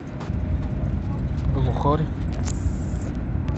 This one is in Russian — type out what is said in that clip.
глухарь